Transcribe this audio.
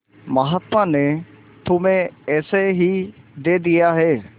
महात्मा ने तुम्हें ऐसे ही दे दिया है